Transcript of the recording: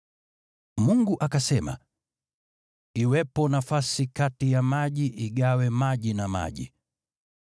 Mungu akasema, “Iwepo nafasi kati ya maji igawe maji na maji.”